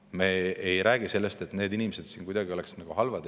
Me ei räägi sellest, et need inimesed siin oleksid kuidagi halvad.